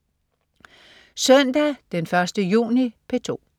Søndag den 1. juni - P2: